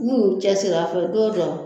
N'u y'u cɛsiri a fɛ don dɔ.